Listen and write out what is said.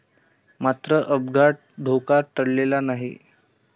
मात्र अद्याप धोका टळलेला नाही.